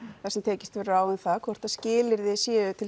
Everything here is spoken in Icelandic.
þar sem tekist verður á um það hvort skilyrði séu til